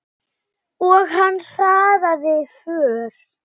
Og hann hraðaði för.